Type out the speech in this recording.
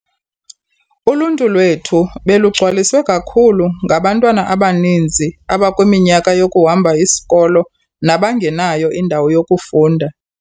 "Uluntu lwethu belugcwaliswe kakhulu ngabantwana abaninzi abakwiminyaka yokuhamba isikolo nabangenayo indawo yokufunda."